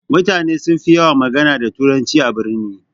Mutane sunfi yawan magana da turanci a birni.